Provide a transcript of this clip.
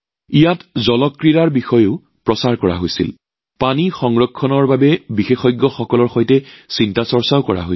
তাত জল ক্ৰীড়াকো প্ৰচাৰ কৰা হৈছিল আৰু জল সুৰক্ষাৰ বিশেষজ্ঞৰ সৈতে মগজুৰ ধুমুহাও কৰা হৈছিল